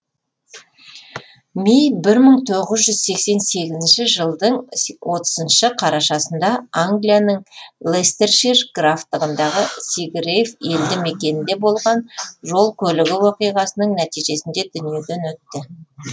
ми бір мың тоғыз жүз сексен сегізінші жылдың отызыншы қарашасында англияның лестершир графтығындағы сигрейв елді мекенінде болған жол көлігі оқиғасының нәтижесінде дүниеден өтті